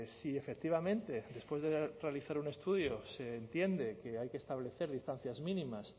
si efectivamente después de realizar un estudio se entiende que hay que establecer distancias mínimas